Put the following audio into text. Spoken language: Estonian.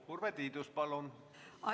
Urve Tiidus, palun!